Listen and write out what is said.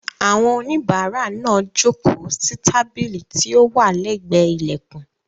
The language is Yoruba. Àwọn oníbàárà náà jókòó sí tábìlì tí ó wà lẹ́gbẹ̀ẹ́ ilẹ̀kùn.